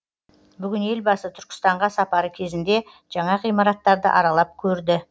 бүгін елбасы түркістанға сапары кезінде жаңа ғимараттарды аралап көрді